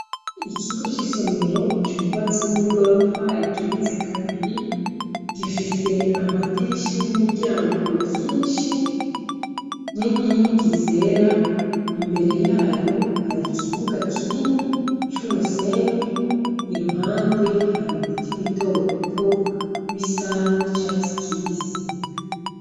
Ikigo c'isomero cubatse n'igorofa igeretse kabiri, gifise amadirisha n'imiryango vyinshi n'inkingi zera, imbere yayo hari kibuga kinini c'umusenyi i ruhande hari ibiti bito bito bisa n'icatsi kibisi.